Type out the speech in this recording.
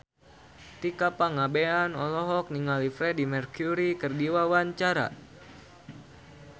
Tika Pangabean olohok ningali Freedie Mercury keur diwawancara